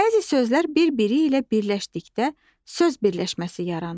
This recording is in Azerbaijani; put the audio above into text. Bəzi sözlər birbiri ilə birləşdikdə söz birləşməsi yaranır.